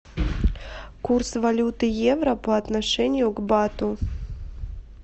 курс валюты евро по отношению к бату